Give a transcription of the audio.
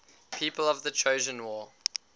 people of the trojan war